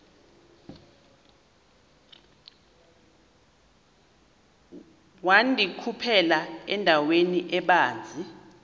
wandikhuphela endaweni ebanzi